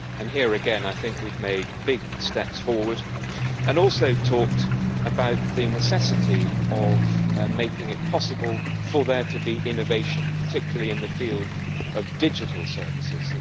Here again, I think we have made big steps forward. We have also talked about the necessity of making it possible for there to be innovation, particularly in the field of digital services.